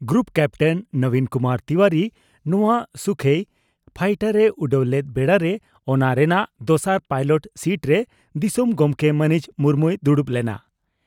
Group captain Nabin Kumar Tiwari ᱱᱚᱣᱟ ᱥᱩᱠᱷᱚᱤ fighter ᱮ ᱩᱰᱟᱹᱣ ᱞᱮᱫ ᱵᱮᱲᱟᱨᱮ ᱚᱱᱟ ᱨᱮᱱᱟᱜ ᱫᱚᱥᱟᱨ ᱯᱟᱭᱞᱚᱴ ᱥᱤᱴᱨᱮ ᱫᱤᱥᱚᱢ ᱜᱚᱢᱠᱮ ᱢᱟᱹᱱᱤᱡ ᱢᱩᱨᱢᱩᱭ ᱫᱩᱲᱩᱵ ᱞᱮᱱᱟ ᱾